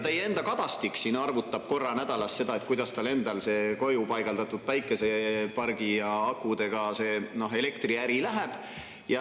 Teie enda Kadastik siin arvutab korra nädalas, kuidas tal koju paigaldatud päikesepargi ja akudega elektriäri läheb.